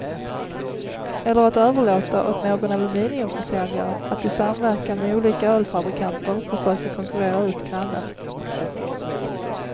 Eller att överlåta åt någon aluminiumförsäljare att i samverkan med olika ölfabrikanter försöka konkurrera ut grannen.